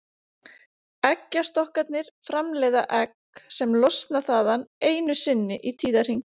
Eggjastokkarnir framleiða egg sem losna þaðan einu sinni í tíðahring.